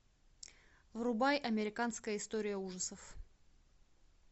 врубай американская история ужасов